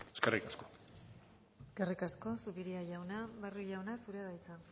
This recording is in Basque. eskerrik asko eskerrik asko zupiria jauna barrio jauna zurea da hitza